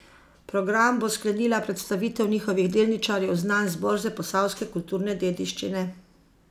Program bo sklenila predstavitev njihovih delničarjev znanj z borze posavske kulturne dediščine.